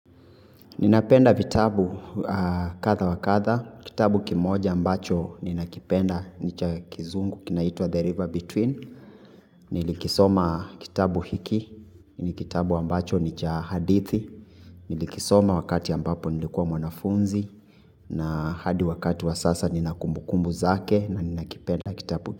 Ninapenda vitabu kadha wakadha, kitabu kimoja ambacho ninakipenda nicha kizungu kinaitua The River Between, nilikisoma kitabu hiki, ni kitabu ambacho nicha hadithi, nilikisoma wakati ambapo nilikuwa mwanafunzi, na hadi wakati wa sasa ninakumbukumbu zake na ninakipenda kitabu.